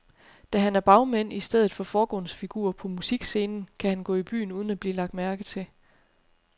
Da han er bagmand i stedet for forgrundsfigur på musikscenen, kan han gå i byen uden at blive lagt mærke til.